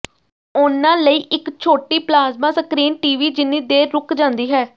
ਉਨ੍ਹਾਂ ਲਈ ਇੱਕ ਛੋਟੀ ਪਲਾਜ਼ਮਾ ਸਕ੍ਰੀਨ ਟੀਵੀ ਜਿੰਨੀ ਦੇਰ ਰੁਕ ਜਾਂਦੀ ਹੈ